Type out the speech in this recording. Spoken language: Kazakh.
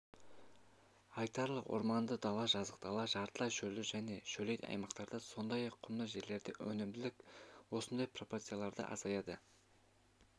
айталық орманды дала жазық дала жартылай шөлді және шөлейт аймақтарда сондай-ақ құмды жерлерде өнімділік осындай пропорцияда азайды